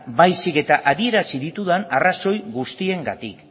baizik eta adierazi ditudan arrazoi guztiengatik